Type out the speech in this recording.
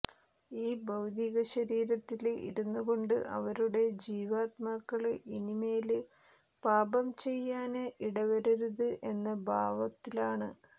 ഈ ഭൌതിക ശരീരത്തില് ഇരുന്നുകൊണ്ട് അവരുടെ ജീവാത്മാക്കള് ഇനിമേല് പാപം ചെയ്യാന് ഇടവരരുത് എന്ന ഭാവത്തിലാണ്